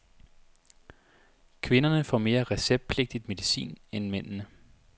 Kvinderne får mere receptpligtig medicin end mændene.